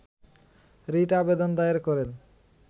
writ আবেদন দায়ের করেন